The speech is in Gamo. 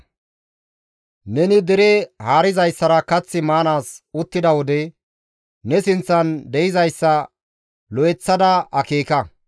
Neni dere haarizayssara kath maanaas uttida wode, ne sinththan de7izayssa lo7eththada akeeka.